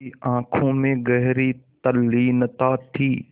उसकी आँखों में गहरी तल्लीनता थी